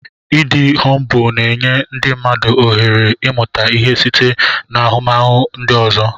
Ịdị humbụl na-enye ndị mmadụ ohere ịmụta ihe site n'ahụmahụ ndị ọzọ.